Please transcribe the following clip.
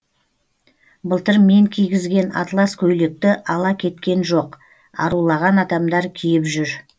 былтыр мен кигізген атлас көйлекті ала кеткен жоқ арулаған адамдар киіп жүр